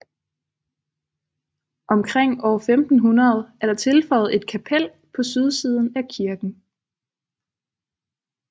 Omkring år 1500 er der tilføjet et kapel på sydsiden af kirken